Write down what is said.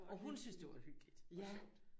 Og hun syntes det var hyggeligt og sjovt